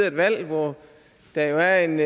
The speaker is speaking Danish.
et valg hvor der jo er en